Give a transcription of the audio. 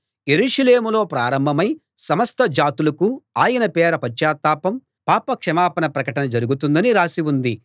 యెరూషలేములో ప్రారంభమై సమస్త జాతులకూ ఆయన పేర పశ్చాత్తాపం పాప క్షమాపణ ప్రకటన జరుగుతుందనీ రాసి ఉంది